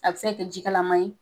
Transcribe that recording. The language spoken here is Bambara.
A bɛ se ka ka ji kalaman ye